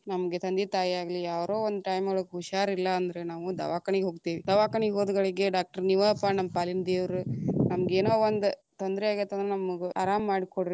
ನಮಗೆ ತಂದೆ, ತಾಯಿಯಾಗಲಿ, ಯಾರೋ one time ಒಳಗ ಹುಷಾರ್ ಇಲ್ಲ ಅಂದ್ರ ನಾವು ದವಾಕನಿಗ ಹೋಗ್ತೀವಿ ದವಾಕನಿಗ ಹೋದಗಳಿಗೆ doctor ನೀವಪ್ಪಾ ನಮ್ ಪಾಲಿನ ದೇವರು, ನಮಗೇನೊ ಒಂದ ತೊಂದರೆ ಆಗೇತಂದ್ರ ನಮಗ್ ಅರಾಮ ಮಾಡಿ ಕೊಡ್ರಿ.